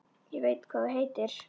Ég veit hvað þú heitir.